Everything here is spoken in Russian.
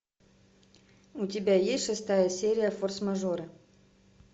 у тебя есть шестая серия форс мажоры